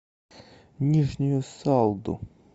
нижнюю салду